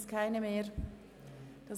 – Das ist nicht der Fall.